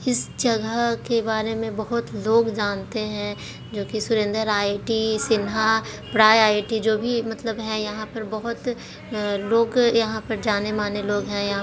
इस जगह के बारे में बहुत लोग जानते हैं सुरेन्द्र आई_टी सिन्हा प्राइ_आई_टी जो भी मतलब है यहाँ पर बहुत लोग यहाँ पर जाने माने लोग हैंयहाँ--